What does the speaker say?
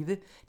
DR P1